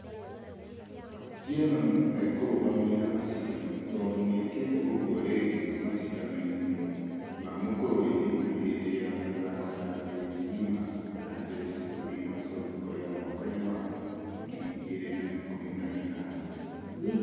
Otieno akũrũgamĩrĩra mashidano tũndũ nĩĩkĩte ũguo ringĩ mashidano-inĩ ma mũkũrũeni na hĩndĩ ya mĩthako ya thĩ ngima ya jeshi bũrũri wa south korea mwaka wa ngiri igĩrĩ na ikũmi na ithano.